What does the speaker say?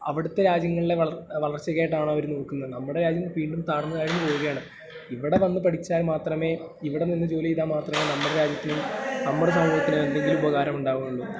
...അവിടത്തെ രാജ്യങ്ങളിലെ വളർച്ചയ്ക്കായിട്ടാണ് അവര് നോക്കുന്നത്, നമ്മടെ രാജ്യം വീണ്ടും താഴ്ന്ന് താഴ്ന്ന് പോകുകയാണ്. ഇവിടെ വന്ന് പഠിച്ചാൽ മാത്രമേ ഇവിടെ നിന്ന് ജോലി ചെയ്താൽ മാത്രമേ നമ്മുടെ രാജ്യത്തിനും നമ്മുടെ സമൂഹത്തിനും എന്തെങ്കിലും ഉപകാരമുണ്ടാവുകയുള്ളൂ.